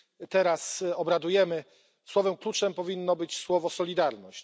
teraz obradujemy, słowem kluczem powinno być słowo solidarność.